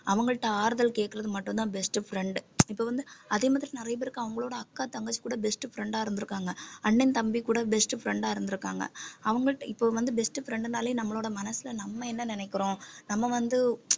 அவங்கள்ட்ட ஆறுதல் கேக்கறது மட்டும்தான் best friend இப்ப வந்து அதே மாதிரி நிறைய பேருக்கு அவங்களோட அக்கா தங்கச்சி கூட best friend ஆ இருந்திருக்காங்க அண்ணன் தம்பி கூட best friend ஆ இருந்திருக்காங்க அவங்கள்ட்ட இப்போ வந்து best friend னாலே நம்மளோட மனசுல நம்ம என்ன நினைக்கிறோம் நம்ம வந்து